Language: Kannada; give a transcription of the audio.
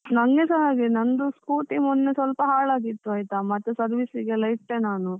ನಂಗೆಸ ಹಾಗೆ, ನಂದು scooty ಮೊನ್ನೆ ಸ್ವಲ್ಪ ಹಾಳ್ ಆಗಿತ್ತು ಆಯ್ತಾ, ಮತ್ತೆ service ಗೆಲ್ಲಾ ಇಟ್ಟೆ ನಾನು.